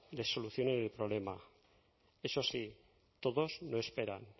les solucionen el problema eso sí todos no esperan